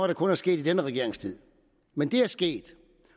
der kun er sket i denne regerings tid men det er sket